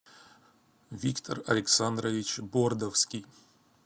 виктор александрович бордовский